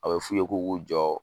A be f'u ye k'u k'u jɔ